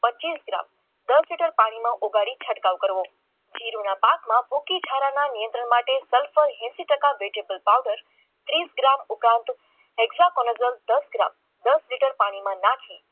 પચીસ ગ્રામ દસ લિટર પાણીમાં ઓગાળી છંટકાવ કરવો જીરુના પાકમાં મૂકી નિયંત્રણ માટે એસી ટકા પાવડર ત્રીસ ગ્રામ દસ ગ્રામ દસ લીટર પાણીમાં નાખી